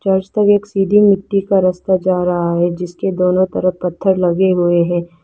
एक सीधी मिट्टी का रास्ता जा रहा है जिसके दोनों तरफ पत्थर लगे हुए हैं।